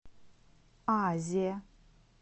азе